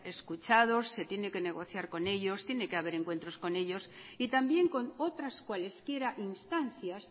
escuchados y tiene que negociar con ellos tiene que haber encuentros con ellos y también con otras cualesquiera instancias